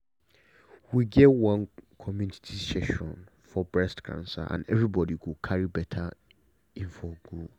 we get one community session for breast cancer and everybody carry better info go.